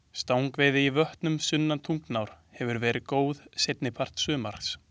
Stangveiði í vötnum sunnan Tungnár hefur verið góð seinni part sumars.